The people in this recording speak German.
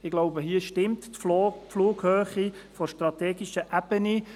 » Ich denke, hier stimmt die Flughöhe der strategischen Ebene.